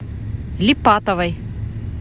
липатовой